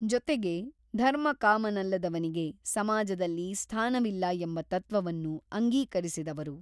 ಜೊತೆಗೆ ಧರ್ಮಕಾಮ ನಲ್ಲದವನಿಗೆ ಸಮಾಜದಲ್ಲಿ ಸ್ಥಾನವಿಲ್ಲ ಎಂಬ ತತ್ತ್ವವನ್ನು ಅಂಗೀಕರಿಸಿದವರು.